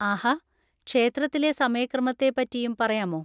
ആഹാ! ക്ഷേത്രത്തിലെ സമയക്രമത്തെപ്പറ്റിയും പറയാമോ?